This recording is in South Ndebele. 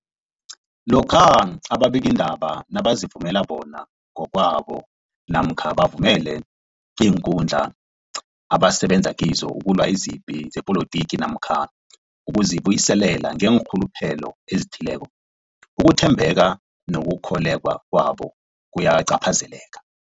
Lokhuya ababikiindaba nabazivumela bona ngokwabo namkha bavumele iinkundla abasebenza kizo ukulwa izipi zepolitiki namkha ukuzi buyiselela ngeenrhuluphelo ezithileko, ukuthembeka nokukholweka kwabo kuyacaphazeleka.